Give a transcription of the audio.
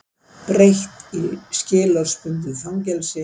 Breytt í skilorðsbundið fangelsi